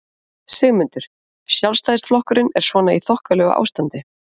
Sigmundur: Sjálfstæðisflokkurinn er svona í þokkalegu ástandi?